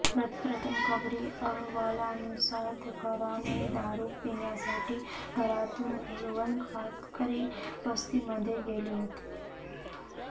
प्रथम खबरी अहवालानुसार तुकाराम हे दारू पिण्यासाठी घरातून कोळवण कातकरी वस्तीमध्ये गेले होते